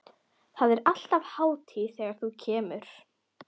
Það er alltaf hátíð þegar þú kemur.